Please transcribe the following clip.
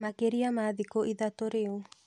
Makĩria ma thikũ ithatũ rĩu.